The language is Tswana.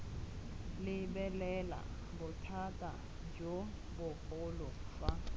lebelela bothata jo bogolo fa